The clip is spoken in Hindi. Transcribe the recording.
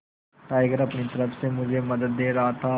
टाइगर अपनी तरह से मुझे मदद दे रहा था